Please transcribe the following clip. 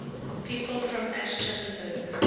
people from aschaffenburg